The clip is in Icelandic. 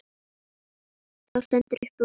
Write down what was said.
Það stendur upp úr.